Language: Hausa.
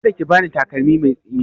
Ka da ki ba ni takalmi mai tsini!